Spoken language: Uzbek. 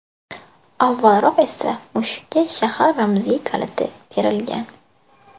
Avvalroq esa mushukka shahar ramziy kaliti berilgan.